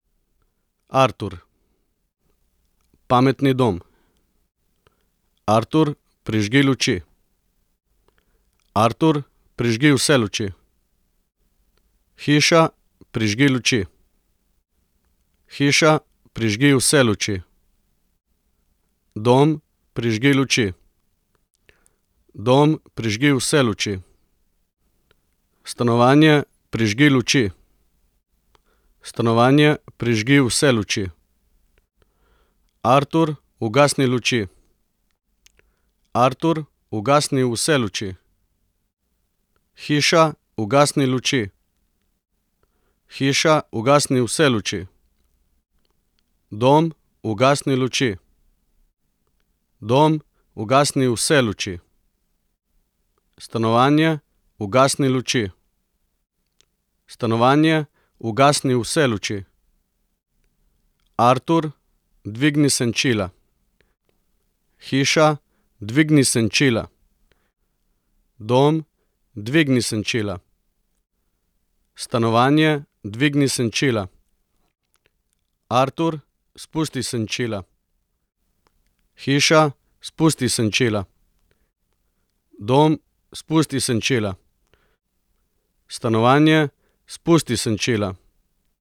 Artur. Pametni dom. Artur, prižgi luči. Artur, prižgi vse luči. Hiša, prižgi luči. Hiša, prižgi vse luči. Dom, prižgi luči. Dom, prižgi vse luči. Stanovanje, prižgi luči. Stanovanje, prižgi vse luči. Artur, ugasni luči. Artur, ugasni vse luči. Hiša, ugasni luči. Hiša, ugasni vse luči. Dom, ugasni luči. Dom, ugasni vse luči. Stanovanje, ugasni luči. Stanovanje, ugasni vse luči. Artur, dvigni senčila. Hiša, dvigni senčila. Dom, dvigni senčila. Stanovanje, dvigni senčila. Artur, spusti senčila. Hiša, spusti senčila. Dom, spusti senčila. Stanovanje, spusti senčila.